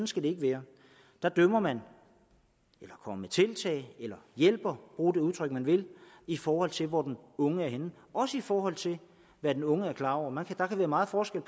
skal det ikke være der dømmer man eller kommer med tiltag eller hjælper man bruge det udtryk man vil i forhold til hvor den unge er henne også i forhold til hvad den unge er klar over der kan være meget forskel